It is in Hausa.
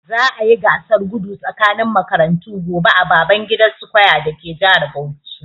Za'a yi gasar gudu tsakanin makarantu gobe a Babangida square dake jihar Bauchi.